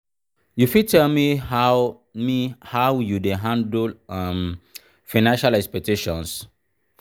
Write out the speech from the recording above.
you fit tell me how me how you dey handle um financial expectations?